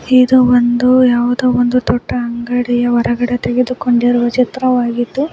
ಇದು ಒಂದು ಯಾವ್ದೋ ಒಂದು ದೊಡ್ಡ ಅಂಗಡಿಯ ಹೊರಗಡೆ ತೆಗೆದುಕೋಂಡಿರುವ ಚಿತ್ರವಾಗಿದ್ದು--